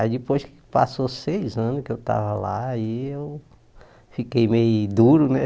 Aí depois que passou seis anos que eu estava lá, aí eu fiquei meio duro, né?